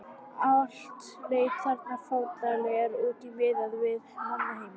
Allt leit þarna fátæklega út miðað við mannheima.